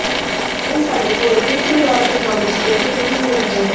ਇਹ ਸਾਡੇ ਕੋਲ ਗੁੰਝਲਦਾਰ ਤਕਨਾਲੋਜੀ ਦੇ ਕੁਦਰਤੀ ਨਤੀਜੇ ਹੈ